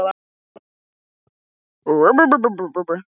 En hvernig forsætisráðherra ætlar Sigmundur Davíð að verða?